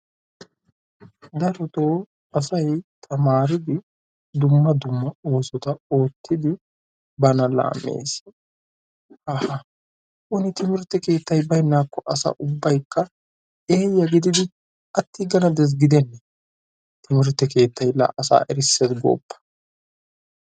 Darotoo asayi tamaaridi dumma. dumma oosota oottidi bana laammes. Haaha woni timirtte keettayi bayinnaakko asa ubbaykka eeyya gididi attiigana des gidennee? Timirtte keettayi la asaa erisses gooppa!